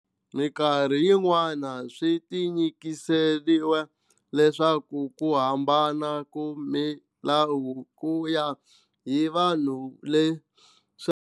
Minkarhi yin'wana swi tinyikiserile leswaku ku hambana ku milawu ku ya hi vanhu leswi.